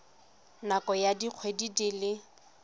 nakong ya dikgwedi di le